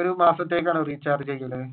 ഒരു മാസത്തേക്കാണോ റീചാർജ് ചെയ്യുന്നത്.